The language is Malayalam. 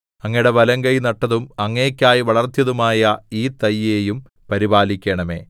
അങ്ങയുടെ വലങ്കൈ നട്ടതും അങ്ങേയ്ക്കായി വളർത്തിയതുമായ ഈ തൈയെയും പരിപാലിക്കണമേ